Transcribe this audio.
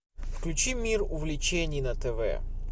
включи мир увлечений на тв